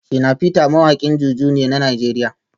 Shina peter mawakin JuJu ne na Najeriya